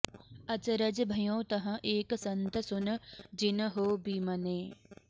अचरज भयो तहँ एक संत सुन जिन हो बिमने